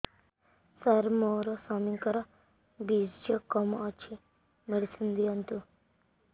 ସାର ମୋର ସ୍ୱାମୀଙ୍କର ବୀର୍ଯ୍ୟ କମ ଅଛି ମେଡିସିନ ଦିଅନ୍ତୁ